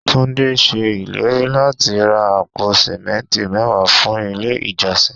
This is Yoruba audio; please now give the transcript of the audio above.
Túndé ṣe ìlérí láti ra àpò simẹnti mẹ́wàá fún ilé ìjọsìn.